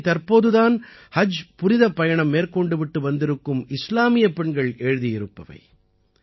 இவை தற்போது தான் ஹஜ் புனிதப் பயணம் மேற்கொண்டு விட்டு வந்திருக்கும் இஸ்லாமியப் பெண்கள் எழுதியிருப்பவை